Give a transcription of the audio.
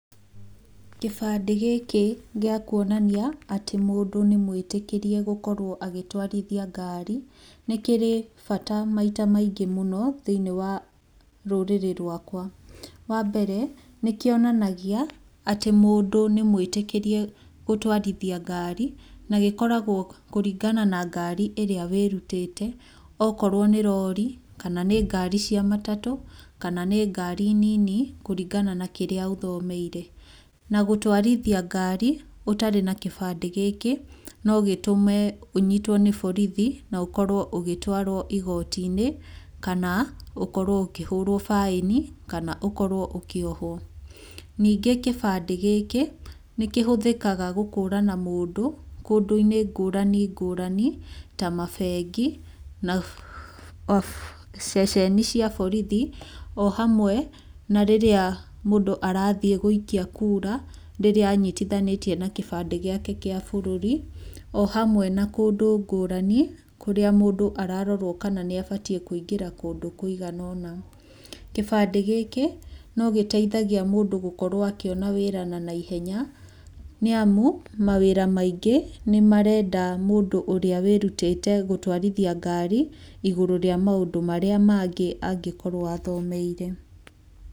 Kĩbandĩ gĩkĩ gĩa kuonania atĩ mũndũ nĩ mwĩtĩkĩrie gũkorwo agĩtwarithia ngari nĩ kĩrĩ bata maita maingĩ mũno thĩiniĩ wa rũrĩrĩ rwakwa. Wa mbere, nĩ kĩonanagia atĩ mũndũ nĩ mwĩtĩkĩrie gũtwarithia ngari na gĩkoragwo kũringana na ngari ĩrĩa wĩrutĩte, okorwo nĩ rori, kana ngari cia matatũ, kana ngari nini kũringana na kĩrĩa ũthomeire. Gũtwarithia ngari ũtarĩ na kĩbandĩ gĩkĩ no gũtũme ũnyitwo nĩ borithi na ũkorwo ũgĩtwarwo igoti-inĩ kana ũkorwo ũkĩhũrwo baĩni kana ũkorwo ũkĩohwo. Ningĩ kĩbandĩ gĩkĩ nĩ kĩhũthĩkaga gũkũrana mũndũ kũndũ-inĩ ngũrani ngũrani, ta mabengi na ceceni cia borithi, o hamwe na rĩrĩa mũndũ arathiĩ gũikia kura, rĩrĩa anyitithanĩtie na kĩbandĩ gĩake kĩa bũrũri, o hamwe na kũndũ ngũrani kũrĩa mũndũ ararorwo kana nĩ abatiĩ kũingĩra kũndũ kũigana ũna. Kĩbandĩ gĩkĩ no gĩteithagia mũndũ gũkorwo akĩona wĩra na naihenya nĩamu, mawĩra maingi nĩmarenda mũndũ ũrĩa wĩrutĩte gũtwarithia ngari, igũrũ rĩa maũndũ marĩa mangĩ angĩkorwo athomeire.